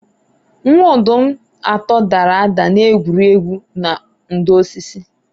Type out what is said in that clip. Nwa-ọdum atọ dara ada n'egwuru egwu na ndò osisi